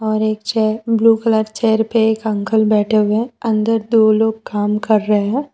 और एक chair blue colour chair पे एक अंकल बैठे हुए अंदर दो लोग काम कर रहे हैं।